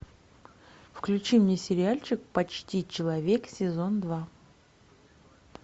включи мне сериальчик почти человек сезон два